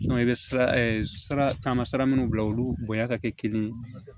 i bɛ sira sara taama sira minnu bila olu bonya ka kɛ kelen ye